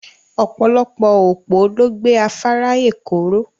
Ọpọ̀lọpọ̀ òpó ló gbẹ̀ Àfárà Èkọ́ ró.